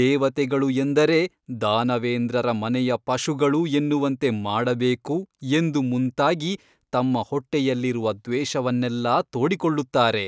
ದೇವತೆಗಳು ಎಂದರೆ ದಾನವೇಂದ್ರರ ಮನೆಯ ಪಶುಗಳು ಎನ್ನುವಂತೆ ಮಾಡಬೇಕು ಎಂದು ಮುಂತಾಗಿ ತಮ್ಮ ಹೊಟ್ಟೆಯಲ್ಲಿರುವ ದ್ವೇಷವನ್ನೆಲ್ಲ ತೋಡಿಕೊಳ್ಳುತ್ತಾರೆ.